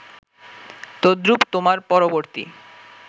তদ্রুপ তোমার পরবর্তী